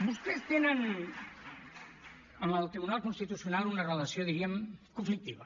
vostès tenen amb el tribunal constitucional una relació diríem conflictiva